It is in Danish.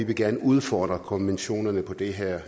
vil gerne udfordre konventionerne på det her